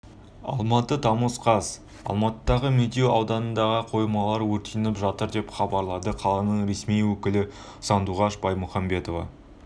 алматы тамыз қаз алматыдағы медеу ауданында қоймалар өртеніп жатыр деп хабарлады қаланың ресми өкілі сандуғаш баймухамбетова